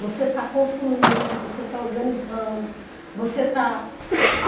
Você está construindo, você está organizando, você está a